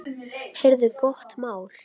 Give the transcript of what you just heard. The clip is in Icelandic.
Heyrðu, gott mál!